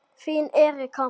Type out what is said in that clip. Þín Erika.